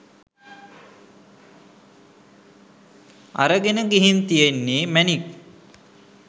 අරගෙන ගිහින් තියෙන්නේ මැණික්